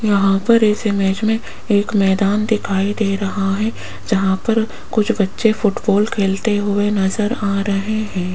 यहां पर इस इमेज में एक मैदान दिखाई दे रहा है जहां पर कुछ बच्चे फुटबॉल खेलते हुए नजर आ रहे हैं।